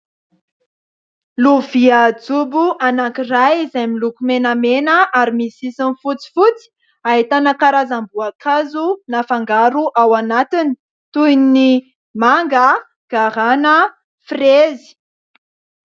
Lovia jobo anankiray izay miloko menamena ary misy sisiny fotsifotsy ahitana karazam-boankazo nafangaro ao anatiny toy ny : manga, garàna, firezy.